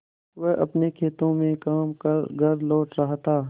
वह अपने खेतों में काम कर घर लौट रहा था